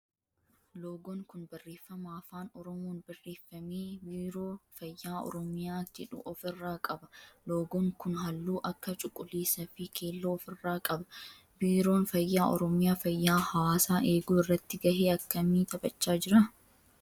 Loogoon kun barreeffama afaan oromoon barreeffame biiroo fayyaa oromiyaa jedhu of irraa qaba. Loogoon kun halluu akka cuquliisa fi keelloo of irraa qaba. Biiroon fayyaa oromiyaa fayyaa hawaasaa eeguu irratti gahee akkamii taphachaa jira?